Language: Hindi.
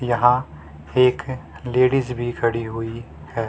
यहां एक लेडीज भी खड़ी हुई है।